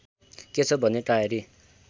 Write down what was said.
के छ भने टाएरी